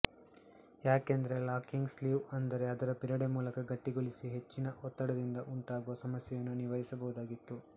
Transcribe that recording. ಯಾಕೆಂದರೆ ಲಾಕಿಂಗ್ ಸ್ಲೀವ್ಅಂದರೆ ಅದರ ಬಿರಡೆ ಮೂಲಕ ಗಟ್ಟಿಗೊಳಿಸಿ ಹೆಚ್ಚಿನ ಒತ್ತಡದಿಂದ ಉಂಟಾಗುವ ಸಮಸ್ಯೆಗಳನ್ನು ನಿವಾರಿಸಬಹುದಾಗಿತ್ತು